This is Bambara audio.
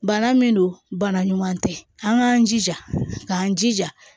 Bana min don bana ɲuman tɛ an k'an jija k'an jija